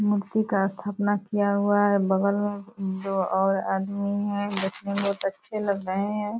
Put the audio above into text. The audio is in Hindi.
मूर्ति का स्थापना किया हुआ है बगल मे दो और आदमी हैं देखने मे बहुत अच्छे लग रहे हैं।